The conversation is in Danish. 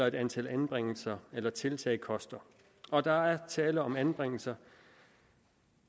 et antal anbringelser eller tiltag koster og der er tale om anbringelser